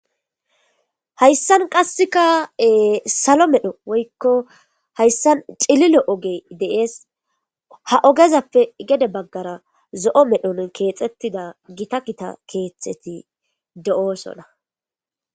Hayssan qasseka salo medho woykko hayssan cililo ogey deees ha ogezappe gede baggara zo'o medhon keexettida gita kita keethtxeti de'oosona